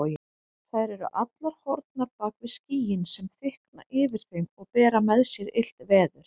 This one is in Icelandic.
Þær eru allar horfnar bak við skýin sem þykkna yfir þeim og bera með sér illt veður.